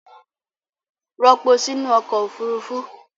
Ropo sí nú ọkọ̀ Òfurufú!